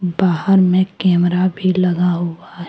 बाहर में कैमरा भी लगा हुआ है।